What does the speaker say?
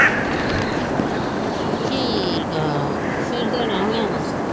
ਠੀਕ ਆ ਫਿਰ ਦੇਣਾ ਹੋਣਾ ਵਾਂ।